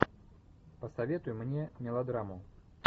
посоветуй мне мелодраму